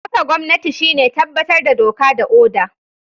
Kafa gwamnati shine tabbatar da doka da oda.